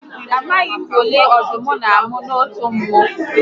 Amaghi m ụmụ ole ọdụm n'amụ n'otu mmụ